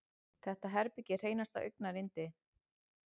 Þetta herbergi er hreinasta augnayndi.